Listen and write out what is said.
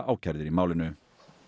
ákærðir í málinu